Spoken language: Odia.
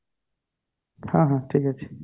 ହଁ ହଁ ଠିକ ଅଛି